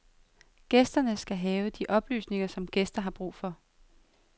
Gæsterne skal have de oplysninger, som gæster har brug for.